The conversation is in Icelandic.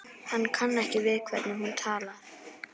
Hann kann ekki við hvernig hún talar.